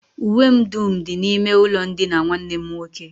Uwe m dum dị n'ime ụlọndina nwanne m nwoke